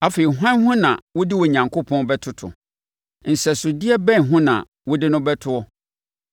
Afei hwan ho na wode Onyankopɔn bɛtoto? Nsɛsodeɛ bɛn ho na wode no bɛtoɔ?